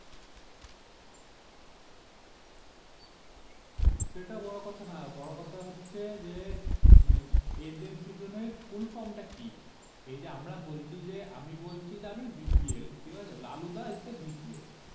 সেটা বড়ো কথা না বড়ো কথা হচ্ছে যে মানে এদের দুজনের Full Form টা কি এই যে আমরা বলছি যে আমি বলছি যে আমি BPL ঠিক হলো লালুদা Is ABPL